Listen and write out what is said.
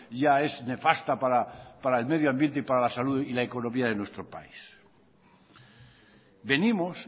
ya es nefasta para el medio ambiente para la salud y la economía de nuestro país venimos